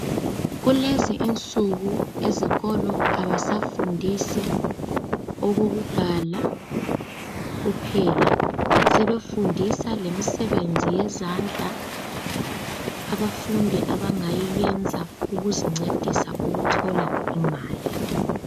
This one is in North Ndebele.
Kulezinsuku ezikolo abafundi abasafundi ukubhala kuphela kodwa sekulemisebenzi yezandla abangayenza ukuzincedisa ukuthola imali.